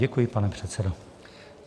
Děkuji, pane předsedo.